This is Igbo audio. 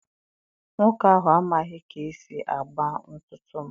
Nwoke ahụ amaghị ka esi agba ntutu m.